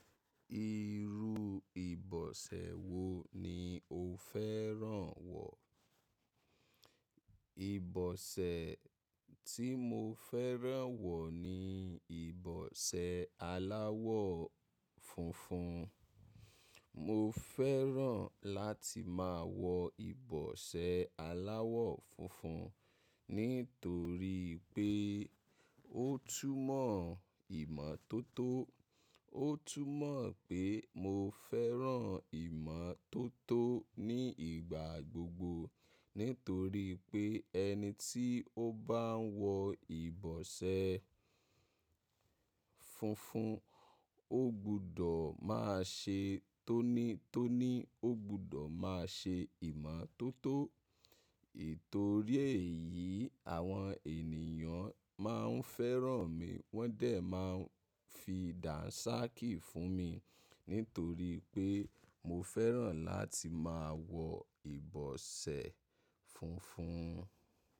Irú ìbọ̀sẹ̀ wo ni o fẹ́ràn wọ̀? Ìbọ̀sẹ̀ tí mo fẹ́ràn wọ̀ ni ìbọ̀sẹ̀ aláwọ̀ funfun. Mo fẹ́ràn láti máa wọ ìbọ̀sẹ̀ aláwọ̀ funfun nítorí pé ó túnmọ̀ ìmọ́tótó. Ó túnmọ̀ pé mo fẹ́ràn ìmọ́tótó ní ìgbà gbogbo nítorí pé ẹni tí ó bá ń wọ ìbọ̀sẹ̀ funfun ó gbudọ̀ máa ṣe tónítóní, ó gbudọ̀ máa ṣe ìmọ́tótó. Itò rièyì àwọn ènìyàn máa ń fẹ́ràn mi wọ́n dẹ̀ máa ń fi dàńṣákì fún mi nítorí pé mo fẹ́ràn láti máa wọ ìbọ̀sẹ̀ funfun.